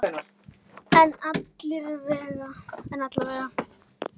En alla vega.